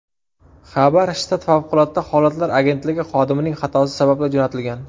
Xabar shtat favqulodda holatlar agentligi xodimining xatosi sababli jo‘natilgan.